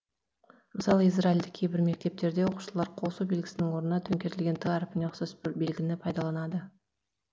мысалы израильдік кейбір мектептерде оқушылар қосу белгісінің орнына төңкерілген т әрпіне ұқсас белгіні пайдаланады